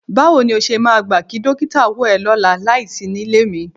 Báwo ni o ṣe máa gbà kí dókítà wò ẹ́ lọ́la láìsí nílé mi?